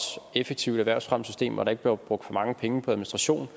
og effektivt erhvervsfremmesystem hvor der ikke bliver brugt for mange penge på administration